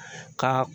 Ka